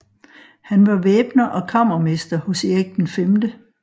Han var væbner og kammermester hos Erik 5